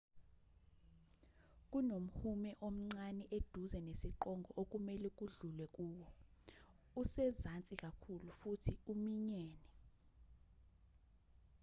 kunomhume omncane eduze nesiqongo okumelwe kudlulwe kuwo usezansi kakhulu futhi uminyene